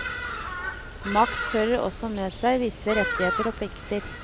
Makt fører også med seg visse rettigheter og plikter.